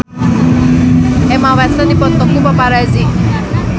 Emma Watson dipoto ku paparazi